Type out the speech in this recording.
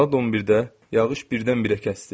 Saat 11-də yağış birdən-birə kəsdi.